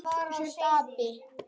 Segðu að þú sért api!